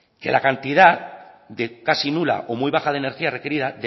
que la cantidad casi nula o muy baja de energía requerida